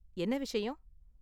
என்ன விஷயம்?